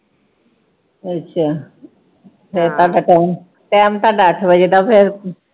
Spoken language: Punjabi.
ਅੱਛਾ ਫਿਰ ਤੁਹਾਡਾ time